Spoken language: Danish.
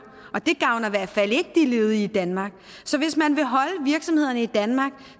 og det gavner i hvert fald ikke de ledige i danmark så hvis man vil holde virksomhederne i danmark